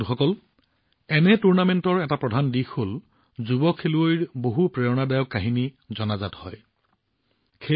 বন্ধুসকল এনে টুৰ্ণামেণ্টৰ এটা প্ৰধান দিশ হল যুৱ খেলুৱৈৰ বহু প্ৰেৰণাদায়ক কাহিনী চৰ্চালৈ আহে